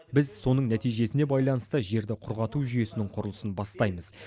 біз соның нәтижесіне байланысты жерді құрғату жүйесінің құрылысын бастаймыз